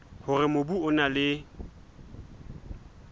hore mobu o na le